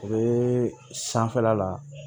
U bɛ sanfɛla la